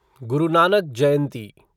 गुरु Nanak जयंती